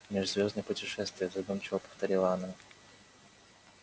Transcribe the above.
межзвёздные путешествия задумчиво повторила она